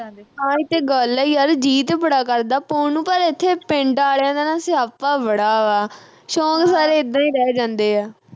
ਆਹ ਹੀ ਤੇ ਗੱਲ ਆ ਯਾਰ ਜੀ ਤੇ ਬੜਾ ਕਰਦਾ ਪਾਉਣ ਨੂੰ ਪਰ ਇਥੇ ਪਿੰਡ ਆਇਲਾ ਦਾ ਨਾ ਸਿਆਪਾ ਬੜਾ ਵਾ ਸ਼ੌਕ ਸਾਰੇ ਇੱਦਾਂ ਰਹਿ ਜਾਂਦੇ ਆ